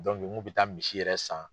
mun bɛ taa misi yɛrɛ san.